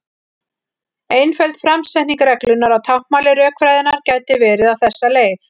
Einföld framsetning reglunnar á táknmáli rökfræðinnar gæti verið á þessa leið: